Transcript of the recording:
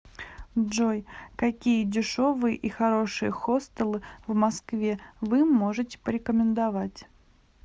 джой какие дешевые и хорошие хостелы в москве вы можете порекомендовать